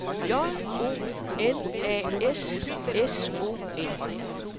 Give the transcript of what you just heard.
J O N A S S O N